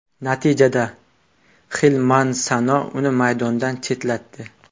Natijada Xil Mansano uni maydondan chetlatdi.